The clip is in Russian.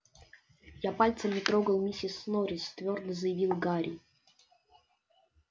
я пальцем не трогал миссис норрис твёрдо заявил гарри